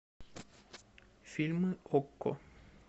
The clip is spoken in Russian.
фильмы окко